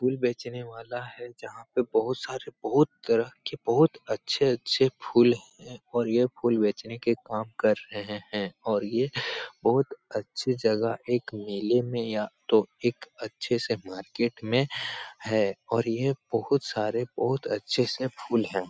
फूल बेचने वाला है जहां पे बोहोत सारे बोहोत तरह के बहुत अच्छे-अच्छे फूल हैं और यह फूल बेचने के काम कर रहे है और ये बहुत अच्छे जगह एक मेले में या तो एक अच्छे से मार्केट में हैं और ये बोहोत सारे बोहोत अच्छे से फूल हैं ।